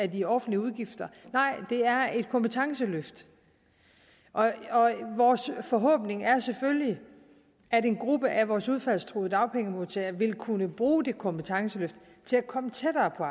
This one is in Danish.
de offentlige udgifter det er et kompetenceløft og vores forhåbning er selvfølgelig at en gruppe af vores udfaldstruede dagpengemodtagere vil kunne bruge det kompetenceløft til at komme tættere på